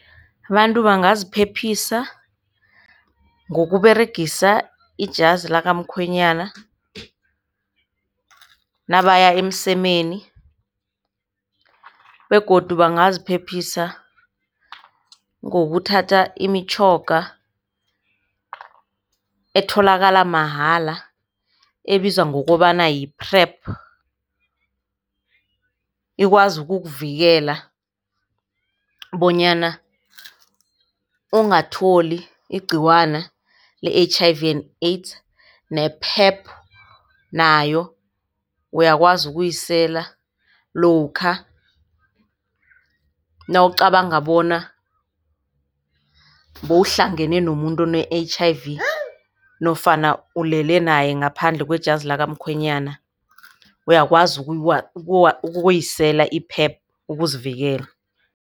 Abantu bangaziphephisa ngokuberegisa ijazi lakamkhwenyana nabaya emsemeni begodu bangaziphephisa ngokuthatha imitjhoga etholakala mahala ebizwa ngokobana yi-PrEP. Ikwazi ukukuvikela bonyana ungatholi igciwana le-H_I_V and AIDS ne-PrEP nayo uyakwazi ukuyisela lokha nawucabanga bona bewuhlangene nomuntu one-H_I_V nofana ulele naye ngaphandle kwejazi likamkhwenyana. Uyakwazi ukuyisela i-PrEP ukuzivikela.